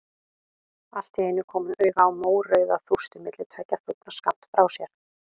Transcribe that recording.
Allt í einu kom hún auga á mórauða þústu milli tveggja þúfna skammt frá sér.